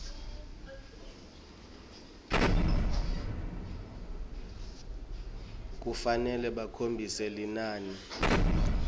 kufanele bakhombise linani